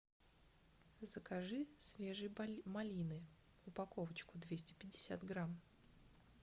закажи свежей малины упаковочку двести пятьдесят грамм